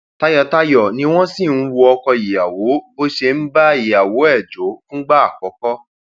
tayọtayọ ni wọn sì ń wọ ọkọ ìyàwó bó ṣe ń bá ìyàwó ẹ jọ fún ìgbà àkọkọ